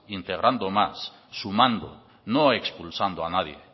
integrando más su mando no expulsando a nadie